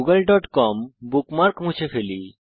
wwwgooglecom bookmark মুছে ফেলি